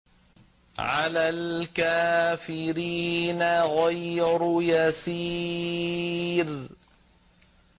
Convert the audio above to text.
عَلَى الْكَافِرِينَ غَيْرُ يَسِيرٍ